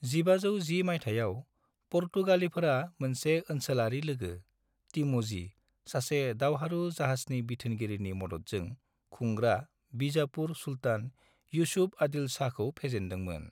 1510 मायथाइयाव, पुर्तगालिफोरा मोनसे ओनसोलारि लोगो, टिम'जी, सासे दावहारु जाहाजनि बिथोनगिरिनि मददजों खुंग्रा बीजापुर सुल्तान यूसुफ आदिल शाहखौ फेजेनदोंमोन।